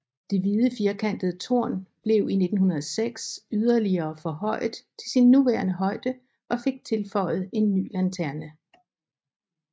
Det hvide firkantede tårn blev i 1906 yderligere forhøjet til sin nuværende højde og fik tilføjet en ny lanterne